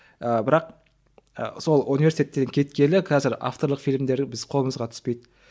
і бірақ і сол университеттен кеткелі қазір авторлық фильмдері біз қолымызға түспейді